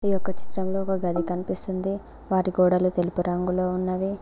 ఈ యొక్క చిత్రంలో ఒక గది కనిపిస్తుంది వాటి గోడలు తెలుపు రంగులో ఉన్నవి.